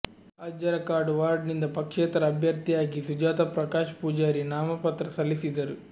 Ajjarakadu ward ನಿಂದ ಪಕ್ಷೇತರ ಅಭ್ಯರ್ಥಿಯಾಗಿ ಸುಜಾತಾ ಪ್ರಕಾಶ್ ಪೂಜಾರಿ ನಾಮಪತ್ರ ಸಲ್ಲಿಸಿದರು